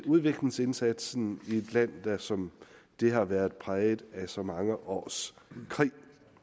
udviklingsindsatsen i et land der som dét har været præget af så mange års krig